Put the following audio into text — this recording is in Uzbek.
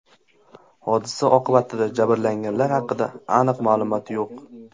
Hodisa oqibatida jabrlanganlar haqida aniq ma’lumot yo‘q.